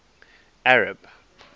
arab